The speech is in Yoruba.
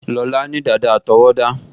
Lọlá ní dàda àtọwọ́dá